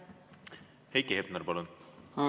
Heiki Hepner, palun!